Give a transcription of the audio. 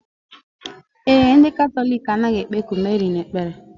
Ee e, ndị Katọlik anaghị ekpeku Meri ekpere.